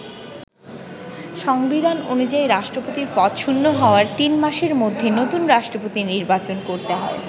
সংবিধান অনুযায়ী রাষ্ট্রপতির পদ শূণ্য হওয়ার তিন মাসের মধ্যে নতুন রাষ্ট্রপতি নির্বাচন করতে হয়।